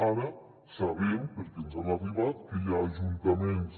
ara sabem perquè ens ha arribat que hi ha ajuntaments